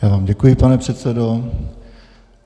Já vám děkuji, pane předsedo.